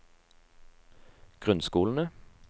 grunnskolene